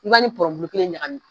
u ya ni ko in ɲahami!